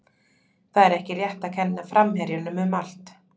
Það er ekki rétt að kenna framherjunum um allt.